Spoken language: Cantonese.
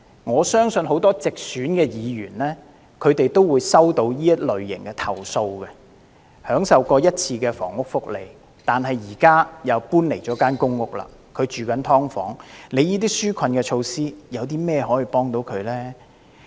我相信很多直選議員也曾收到此類型的投訴，有些市民曾享受過一次房屋福利，但現時又搬離了公屋，住在"劏房"，政府當局的紓困措施又怎樣幫助他們呢？